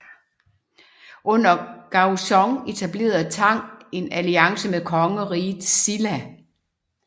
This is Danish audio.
Under Gaozong etablerede Tang en alliance med kongeriget Silla